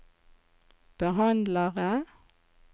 behandlere